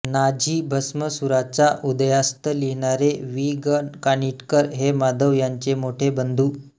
Nazi भस्मासुराचा उदयास्त लिहिणारे वि ग कानिटकर हे माधव यांचे मोठे बंधू